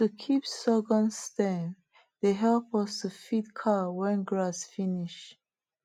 to keep sorghum stem dey help us to feed cow when grass finish